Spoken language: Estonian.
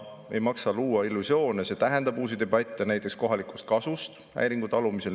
Ei maksa luua illusioone, see tähendab uusi debatte näiteks kohalikust kasust häiringu talumisel.